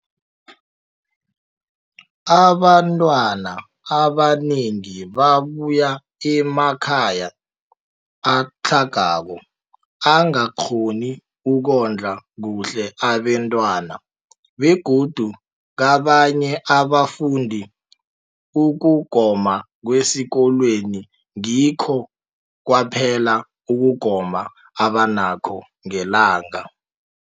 Abantwana abanengi babuya emakhaya atlhagako angakghoni ukondla kuhle abentwana, begodu kabanye abafundi, ukugoma kwesikolweni ngikho kwaphela ukugoma abanakho ngelanga.